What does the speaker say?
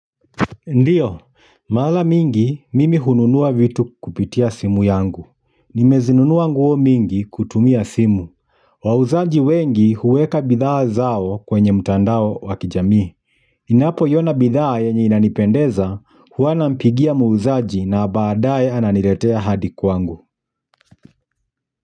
Ndiyo, mara mingi, mimi hununua vitu kupitia simu yangu. Nimezinunua nguo mingi kutumia simu. Wauzaji wengi huweka bidhaa zao kwenye mtandao wa kijamii. Ninapoiona bidhaa yenye inanipendeza huwa nampigia muuzaji na baadae ananiletea hadi kwangu.